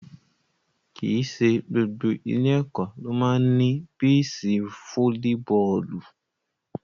Kì í ṣe gbogbo ilé-ẹ̀kọ́ ló máa ń ní píìṣì fóólíbọọ̀lù.